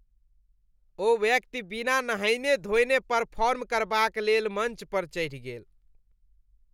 ओ व्यक्ति बिना नहयने धोने परफॉर्म करबाक लेल मञ्च पर चढ़ि गेल।